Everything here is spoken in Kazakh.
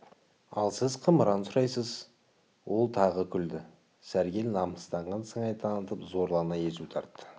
ал сіз қымыран сұрайсыз ол тағы күлді сәргел намыстанған сыңай танытып зорлана езу тартты